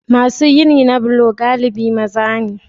Masu gini na bulo galibi maza ne.